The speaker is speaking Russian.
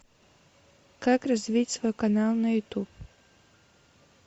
как развить свой канал на ютуб